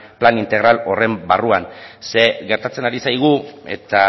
plan integral horren barruan zeren gertatzen ari zaigu eta